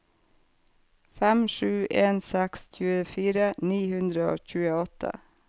fem sju en seks tjuefire ni hundre og tjueåtte